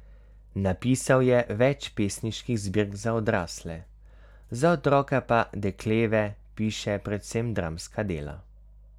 Napisal je več pesniških zbirk za odrasle, za otroke pa Dekleva piše predvsem dramska dela.